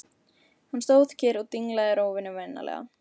Hann stóð kyrr og dinglaði rófunni vinalega.